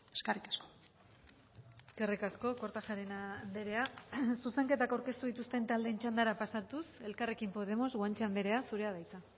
eskerrik asko eskerrik asko kortajarena andrea zuzenketak aurkeztu dituzten taldeen txandara pasatuz elkarrekin podemos guanche andrea zurea da hitza